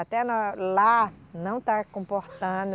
Até na, lá não está comportando...